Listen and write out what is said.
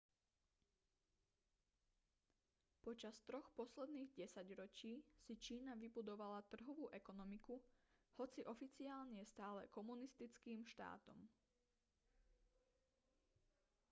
počas troch posledných desaťročí si čína vybudovala trhovú ekonomiku hoci oficiálne je stále komunistickým štátom